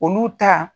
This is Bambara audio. Olu ta